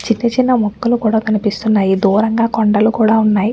చిన్ని చిన్న మొక్కలు కూడా కనిపిస్తునాయిదూరంగా కొండలు కూడా ఉన్నాయి.